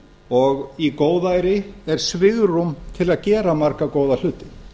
og í góðæri er svigrúm til að gera marga góða hluti